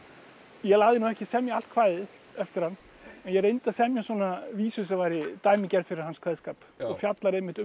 ég lagði nú ekki í semja allt kvæðið eftir hann en ég reyndi að semja svona vísu sem væri dæmigerð fyrir hans kveðskap og fjallar einmitt um